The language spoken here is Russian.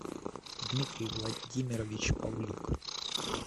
дмитрий владимирович павлюк